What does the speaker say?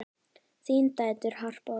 Þínar dætur, Harpa og Tinna.